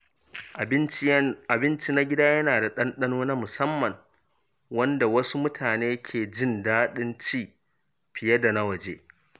Abinci na gida yana da ɗanɗano na musamman, wanda wasu mutane ke jin daɗin ci fiye da na waje.